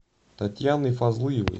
татьяной фазлыевой